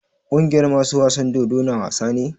Kungiyar masu wasan dodo na wasa ne?